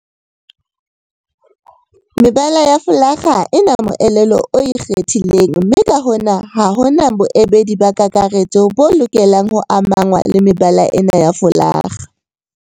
Mebala ya folakga ha e na moelelo o ikgethileng mme ka hona ha ho na boemedi ba kakaretso bo lokelang ho amangwa le mebala ena ya folakga.